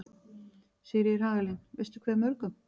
Sigríður Hagalín: Veistu hversu mörgum?